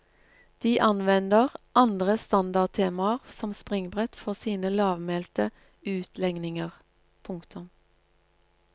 De anvender andre standardtemaer som springbrett for sine lavmælte utlegninger. punktum